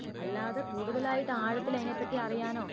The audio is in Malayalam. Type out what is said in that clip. അല്ലാതെ കൂടുതലായിട്ട് ആഴത്തിലയിനെപ്പറ്റി അറിയാനോ